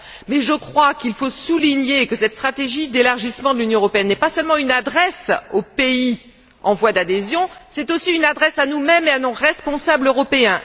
Mais je crois qu'il faut souligner que cette stratégie d'élargissement de l'Union européenne n'est pas seulement une adresse aux pays en voie d'adhésion, c'est aussi une adresse à nous mêmes et à nos responsables européens.